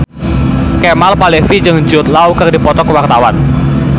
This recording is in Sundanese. Kemal Palevi jeung Jude Law keur dipoto ku wartawan